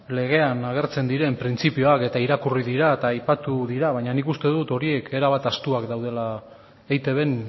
legean agertzen diren printzipioak eta irakurri dira eta aipatu dira baina nik uste dut horiek era bat ahaztuak daudela eitbn